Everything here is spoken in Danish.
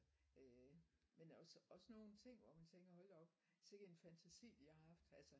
Øh men der også nogen ting hvor man tænker hold da op sikke en fantasi de har haft altså